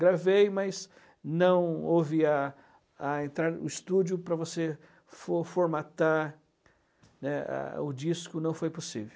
Gravei, mas não houve a a o estúdio para você for formatar o disco, né, não foi possível.